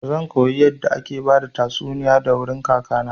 Zan koyo yadda ake bada tastuniya a wurin kaka na.